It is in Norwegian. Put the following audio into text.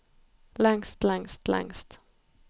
lengst lengst lengst